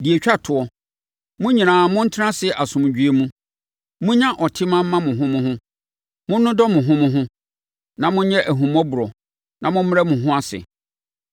Deɛ ɛtwa toɔ, Mo nyinaa montena ase asomdwoeɛ mu. Monnya ɔtema mma mo ho mo ho. Monnodɔ mo ho mo ho, na monyɛ ahummɔborɔ, na mommrɛ mo ho ase.